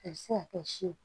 A bɛ se ka kɛ si ye